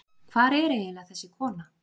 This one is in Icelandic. hvar er eiginlega þessi kona